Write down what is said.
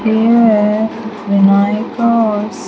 Here Vinayak's --